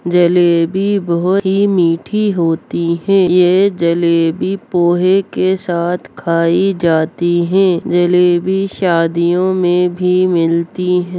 जलेबी बहुत ही मीठी होती है ये जलेबी पोहे के साथ खाई जाती है जलेबी शादियों में भी मिलती ह --